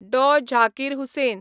Dr. Zakir Hussain